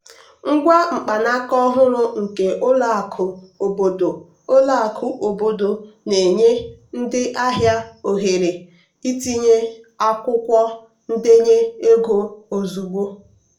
ngwa mkpanaka ọhụrụ nke ụlọ akụ obodo ụlọ akụ obodo na-enye ndị ahịa ohere itinye akwụkwọ ndenye ego ozugbo.